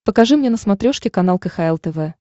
покажи мне на смотрешке канал кхл тв